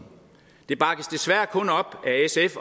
det bakkes desværre kun op